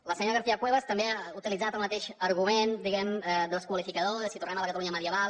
la senyora garcia cuevas també ha utilitzat el mateix argument diguem ne desqualificador de si tornem a la catalunya medieval